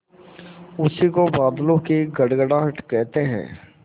उसी को बादलों की गड़गड़ाहट कहते हैं